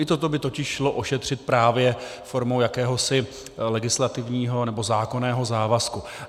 I toto by totiž šlo ošetřit právě formou jakéhosi legislativního nebo zákonného závazku.